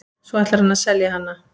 Svo ætlar hann að selja hana.